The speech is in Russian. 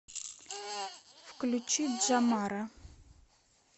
включи джамара